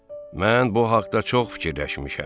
Mən bu haqda çox fikirləşmişəm.